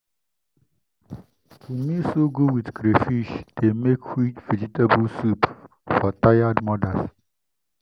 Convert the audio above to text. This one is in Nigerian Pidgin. to mix ugu with crayfish dey make quick vegetable soup for tired mothers.